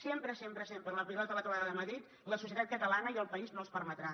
sempre sempre la pilota a la teulada de madrid la societat catalana i el país no els ho permetrà